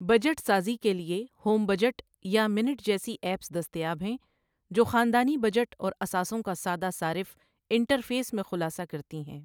Budget سازی کے لیے، ہوم بجٹ یا مِنٹ جیسی ایپس دستیاب ہیں، جو خاندانی بجٹ اور اثاثوں کا سادہ صارف انٹرفیس میں خلاصہ کرتی ہیں۔